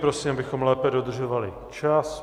Prosím, abychom lépe dodržovali čas.